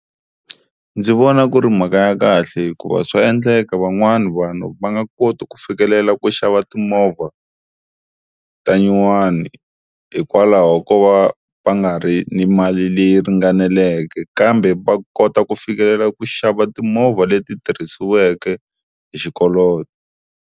Ndzi vona ku ri mhaka ya kahle hikuva swa endleka van'wana vanhu va nga koti ku fikelela ku xava timovha ta nyuwani hikwalaho ko va va nga ri ni mali leyi ringaneleke. Kambe va kota ku fikelela ku xava timovha leti tirhisiweke hi xikoloto.